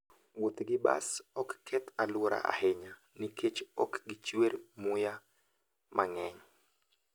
Wuoth gi bas ok keth alwora ahinya nikech ok gichuer muya mang'eny.